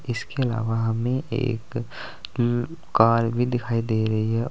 इसके अलावा हमें एक उम्म कार भी दिखाई दे रही है।